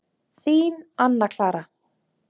Þín, Anna Clara.